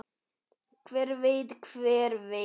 Hver veit, hver veit.